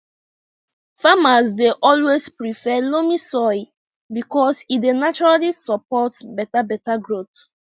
farmers dey always prefer loamy soil because say e dey naturally support beta beta growth